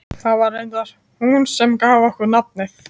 Það var reyndar hún sem gaf honum nafnið.